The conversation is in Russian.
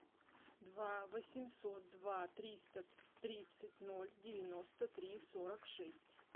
два восемьсот два триста тридцать ноль девяносто три сорок шесть